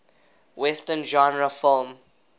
western genre film